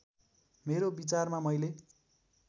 मेरो विचारमा मैले